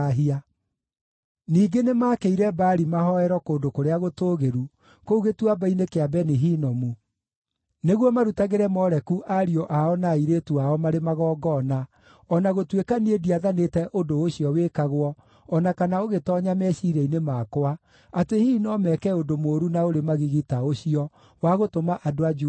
Ningĩ nĩmakĩire Baali mahooero kũndũ kũrĩa gũtũũgĩru, kũu Gĩtuamba-inĩ kĩa Beni-Hinomu, nĩguo marutagĩre Moleku ariũ ao na airĩtu ao marĩ magongona, o na gũtuĩka niĩ ndiathanĩte ũndũ ũcio wĩkagwo, o na kana ũgĩtoonya meciiria-inĩ makwa, atĩ hihi no meeke ũndũ mũũru na ũrĩ magigi ta ũcio, wa gũtũma andũ a Juda mehie.